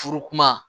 Furu kuma